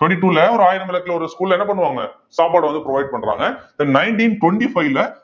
twenty two ல ஒரு ஆயிரம் விளக்குல ஒரு school ல என்ன பண்ணுவாங்க சாப்பாடு வந்து provide பண்றாங்க then nineteen twenty five ல